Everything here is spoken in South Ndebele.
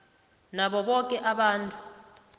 nabo boke abantu